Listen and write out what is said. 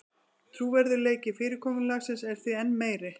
Trúverðugleiki fyrirkomulagsins er því enn meiri